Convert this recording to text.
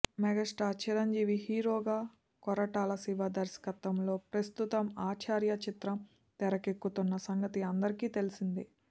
megastar Chiranjeevi hero గా కొరటాల శివ దర్శకత్వంలో ప్రస్తుతం ఆచార్య చిత్రం తెరకెక్కుతున్న సంగతి అందరికీ తెలిసిందే